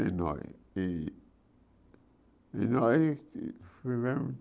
E nós que e nós vivemos